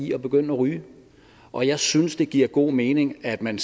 i at begynde at ryge og jeg synes det giver god mening at man